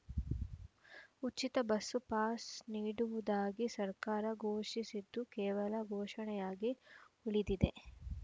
ಉಚಿತ bus pass ನೀಡುವುದಾಗಿ ಸರ್ಕಾರ ಘೋಷಿಸಿದ್ದು ಕೇವಲ ಘೋಷಣೆಯಾಗಿ ಉಳಿದಿದೆ